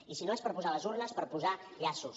i si no és per posar les urnes per posar llaços